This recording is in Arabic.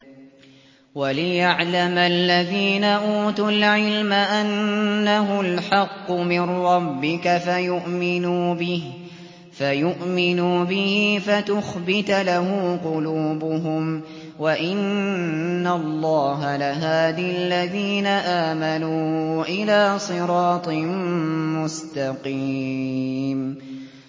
وَلِيَعْلَمَ الَّذِينَ أُوتُوا الْعِلْمَ أَنَّهُ الْحَقُّ مِن رَّبِّكَ فَيُؤْمِنُوا بِهِ فَتُخْبِتَ لَهُ قُلُوبُهُمْ ۗ وَإِنَّ اللَّهَ لَهَادِ الَّذِينَ آمَنُوا إِلَىٰ صِرَاطٍ مُّسْتَقِيمٍ